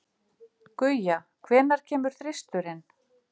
Guja, hvenær kemur þristurinn?